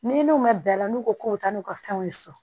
Ni n'u ma bila la n'u ko k'u bɛ taa n'u ka fɛnw ye so